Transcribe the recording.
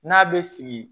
N'a bɛ sigi